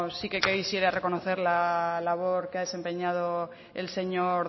sí que quisiera reconocer la labor que ha desempeñado el señor